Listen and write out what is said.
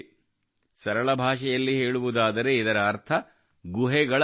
ಸರಳ ಭಾಷೆಯಲ್ಲಿ ಹೇಳುವುದಾದರೆ ಇದರ ಅರ್ಥ ಗುಹೆಗಳ ಅಧ್ಯಯನ